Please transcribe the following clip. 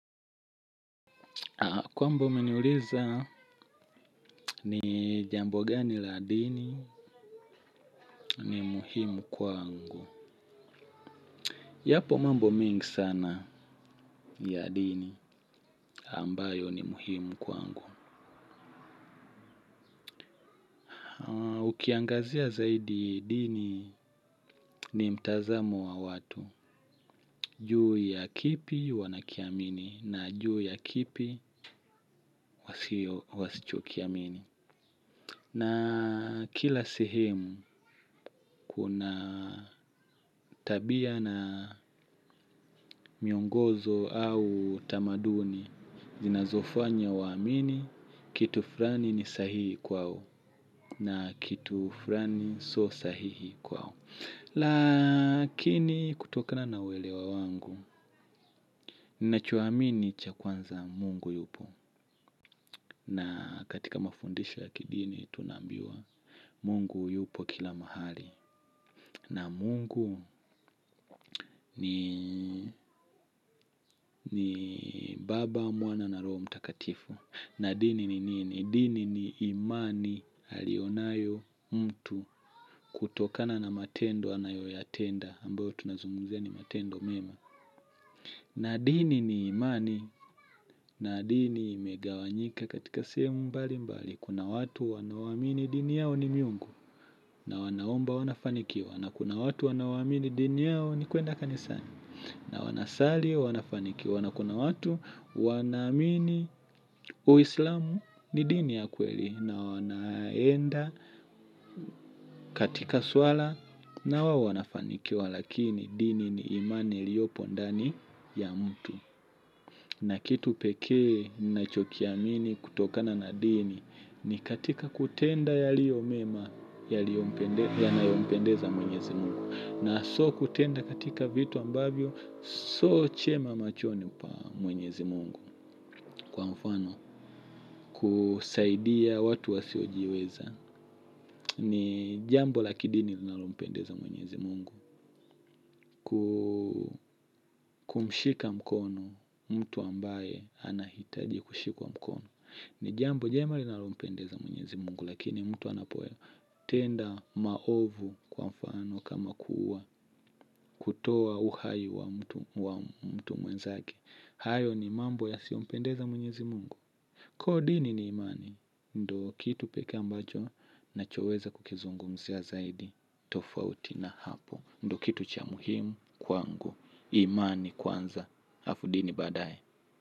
Kwamba umeniuliza ni jambo gani la dini ni muhimu kwangu yapo mambo mingi sana ya dini ambayo ni muhimu kwangu. Ukiangazia zaidi dini ni mtazamo wa watu. Juu ya kipi wanakiamini na juu ya kipi wasichokiamini. Na kila sehemu kuna tabia na miongozo au tamaduni zinazofanya waamini kitu flani ni sahihi kwao na kitu flani sio sahihi kwao. Lakini kutokana na welewa wangu. Ninachoamini cha kwanza Mungu yupo na katika mafundisho ya kidini tunaambiwa Mungu yupo kila mahali. Na mungu ni baba mwana na roho mtakatifu nadini ni nini. Dini ni imani alionayo mtu kutokana na matendo anayoyatenda ambayo tunazungumzia ni matendo mema. Nadini ni imani. Na dini imegawanyika katika sehemu mbali mbali. Kuna watu wanaoamini dini yao ni miungu na wanaomba wanafanikiwa. Na kuna watu wanaoamini dini yao ni kwenda kanisani na wanasali wanafanikiwa na kuna watu wanaamini uislamu ni dini ya kweli na wanaenda katika swala nao wanafanikiwa lakini dini ni imani iliyopo ndani ya mtu. Na kitu peke ninachokiamini kutokana na dini ni katika kutenda yaliyomema yanayo mpendeza mwenyezi Mungu. Na sio kutenda katika vitu ambavyo sio chema machoni pa mwenyezi Mungu. Kwa mfano kusaidia watu wasiojiweza ni jambo la kidini linalompendeza mwenyezi Mungu. Kumshika mkono mtu ambaye anahitaji kushikwa mkono. Ni jambo jema linalompendeza mwenyezi Mungu lakini mtu anapoe tenda maovu kwa mfano kama kuwa kutoa uhai wa mtu mwenzake. Hayo ni mambo yasiyo mpendeza mwenyezi Mungu. Kwa dini ni imani. Ndo kitu pekee ambacho nachoweza kukizungumzia zaidi tofauti na hapo ndo kitu cha muhimu kwangu. Imani kwanza hafu dini baadae.